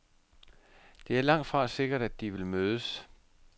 Det er langtfra sikkert, at de vil mødes.